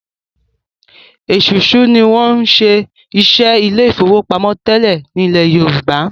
Esusu ní wón ṣe iṣé Ilé ìfowópamọ́ tẹlẹ ní ilè yorùbá.